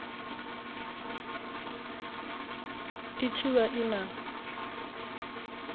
i tshi vha i na